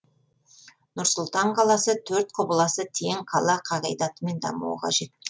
нұр сұлтан қаласы төрт құбыласы тең қала қағидатымен дамуы қажет